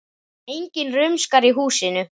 Enginn rumskar í húsinu.